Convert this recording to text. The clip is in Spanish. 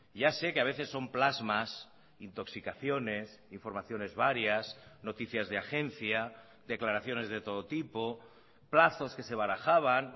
ya sé que ha veces son plasmas intoxicaciones informaciones varias noticias de agencia declaraciones de todo tipo plazos que se barajaban